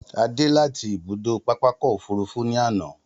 A dé láti ibùdó pápákọ̀ òfúrufú ní àná.